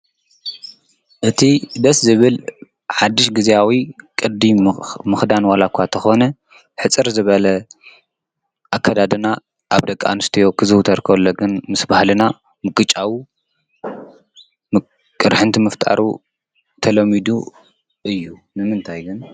እቲ ደስ ዝብል ሓድሽ ጊዜኣዊ ቕዲ ምኽዳን ዋላእኳ ተኾነ ሕፅር ዝበለ ኣከዳድና ኣብ ደቃንስትዮ ክዝውተር ከሎግን ምስ በሃልና ምጕጫዊ ምቅርኅንቲ ምፍጣሩ ተሎሚዱ እዩ። ንምንታይግን?